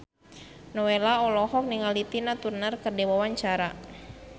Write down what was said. Nowela olohok ningali Tina Turner keur diwawancara